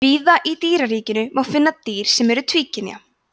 víða í dýraríkinu má finna dýr sem eru tvíkynja